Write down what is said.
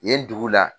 Yen dugu la